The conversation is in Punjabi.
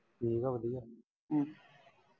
ਠੀਕ ਆ ਵਧੀਆ ਹਾਂ।